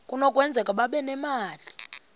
kunokwenzeka babe nemali